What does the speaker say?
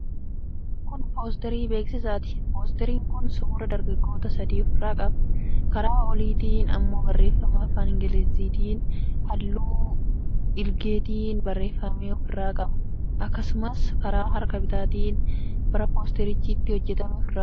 Kun poosterii beeksisaati. Poosteriin kun suuraa dargaggoota sadii ofirraa qaba. Karaa oliitiin immoo barreeffama afaan Ingiliziitiin, halluu dhiilgeetiin barreeffame ofirraa qaba. Akkasumas karaa harka bitaatiin bara poosterichi itti hojjetame ofirraa qaba.